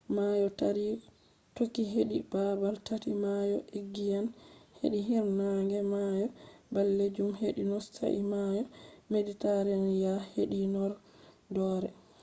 mayo taari toki hedi babal tati: mayo egiyan hedi hiirnaange mayo ɓalejum hedi not sai mayo mediteraniyan hedi horɗoore